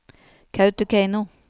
Kautokeino